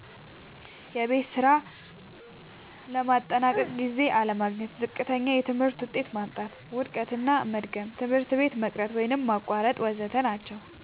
የቤት ስራ ለማጠናቀቅ ጊዜ አለማግኘት፣ ዝቅተኛ የትምህርት ውጤት ማምጣት፣ መዉደቅና መድገም፣ ትምህርት ቤት መቅረት ወይም ማቋረጥ ወ.ዘ.ተ ናቸዉ።